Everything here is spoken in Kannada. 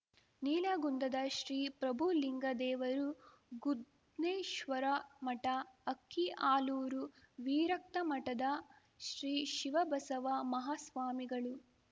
ನೀಲಗುಂದದ ಶ್ರೀ ಪ್ರಭುಲಿಂಗದೇವರು ಗುದ್ನೇಶ್ವರಮಠ ಅಕ್ಕಿಆಲೂರು ವೀರಕ್ತಮಠದ ಶ್ರೀ ಶಿವಬಸವ ಮಾಹಾಸ್ವಾಮಿಗಳು